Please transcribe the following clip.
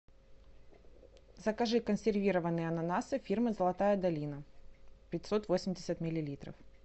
закажи консервированные ананасы фирмы золотая долина пятьсот восемьдесят миллилитров